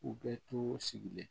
U bɛɛ to sigilen